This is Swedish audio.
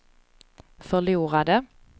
förlorade